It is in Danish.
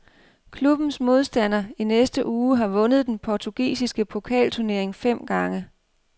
Klubbens modstander i næste uge har vundet den portugisiske pokalturnering fem gange.